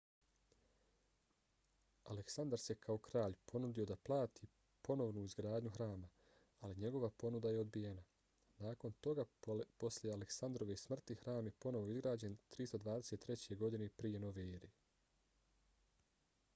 aleksandar se kao kralj ponudio da plati ponovnu izgradnju hrama ali njegova ponuda je odbijena. nakon toga posle aleksandrove smrti hram je ponovo izgrađen 323. godine prije nove ere